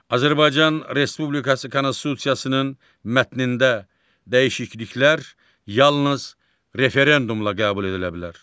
Azərbaycan Respublikası Konstitusiyasının mətnində dəyişikliklər yalnız referendumla qəbul edilə bilər.